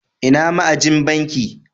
Ina ma'ajin banki?